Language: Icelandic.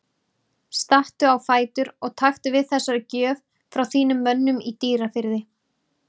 Stattu á fætur og taktu við þessari gjöf frá þínum mönnum í Dýrafirði.